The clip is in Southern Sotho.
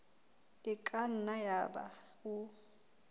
e ka nna yaba o